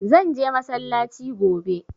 Zan je masallaci gobe